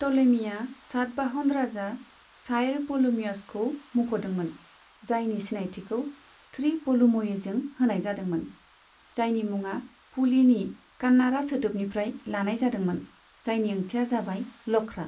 Ptolemy Satavahana राजा साइर पोलेमियोसखौ मुंख'दोंमोन, जायनि सिनायथिखौ श्री पुलुमयीजों होनाय जादोंमोन, जायनि मुङा पुलिनि कान्नाडा सोदोबनिफ्राय लानाय जादोंमोन, जायनि ओंथिआ जाबाय लख्रा।